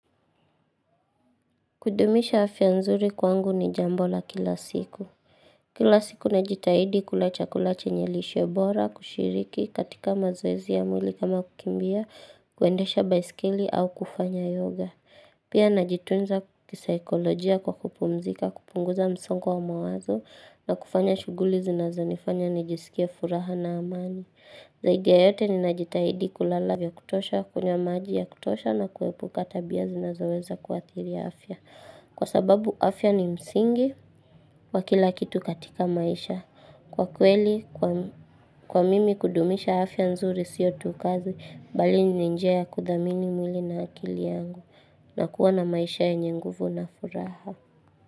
Kudumisha afya nzuri kwangu ni jambola kila siku. Kila siku najitahidi kula chakula chenye lishebora, kushiriki, katika mazoezi ya mwili kama kukimbia, kuendesha baiskeli au kufanya yoga. Pia najitunza kisaikolojia kwa kupumzika, kupunguza msongo wa mawazo na kufanya shughuli zinazo nifanya nijisikia furaha na amani. Zaidi ya yote ni najitahidi kulala vya kutosha, kunywamaji ya kutosha na kuepuka tabia zinazo weza kuathiri afya. Kwa sababu afya ni msingi wa kila kitu katika maisha. Kwa kweli, kwa mimi kudumisha afya nzuri siyo tu kazi, bali ni njia ya kudhamini mwili na akili yangu. Na kuwa na maisha yenye nguvu na furaha.